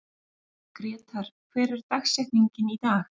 Grétar, hver er dagsetningin í dag?